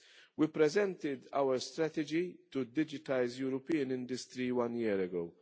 We presented our strategy to digitise European industry one year ago.